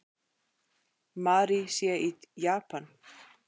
Mary sé í Japan.